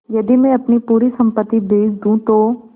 यदि मैं अपनी पूरी सम्पति बेच दूँ तो